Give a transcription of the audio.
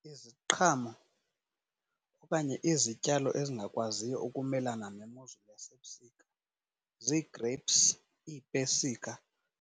Iziqhamo okanye izityalo ezingakwaziyo ukumelana nemozulu yasebusika ziigrapes, iipesika.